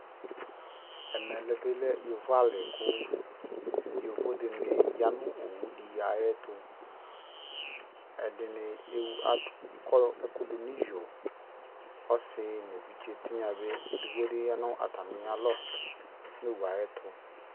Ɛmɛ lɛ bi lɛ yovo ali kʋ yovo dini ya nʋ owu di ayɛtʋ Ɛdini ewu adʋ akɔ ɛkʋ dʋ niyo Ɔsi nʋ evidze tinya bi ɛdigbo bi ya nʋ atamia alɔ nʋ owu yɛ ayɛtʋ